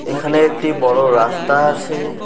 এখানে একটি বড়ো রাস্তা আছে।